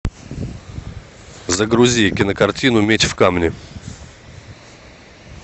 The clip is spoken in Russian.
загрузи кинокартину меч в камне